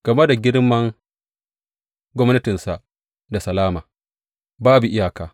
Game da girmar gwamnatinsa da salama babu iyaka.